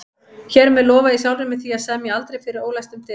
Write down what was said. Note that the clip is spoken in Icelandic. Hér með lofa ég sjálfri mér því að semja aldrei fyrir ólæstum dyrum